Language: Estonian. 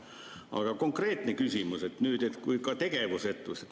Aga konkreetne küsimus on nüüd, et kui ka tegevusetus ...